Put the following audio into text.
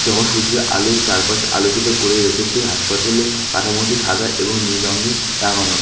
সূর্যের আলো চারপাশ আলোকিত করে রেখেছে হাসপাতালে কাঠামোটি সাদা এবং নীল রঙে রাঙানো।